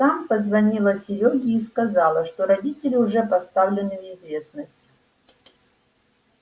там позвонила серёге и сказала что родители уже поставлены в известность